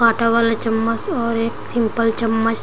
काटा वाला चम्मच और एक सिंपल चम्मच--